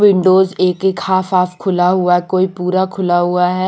Windows एक एक half half खुला हुआ है कोई पूरा खुला हुआ है।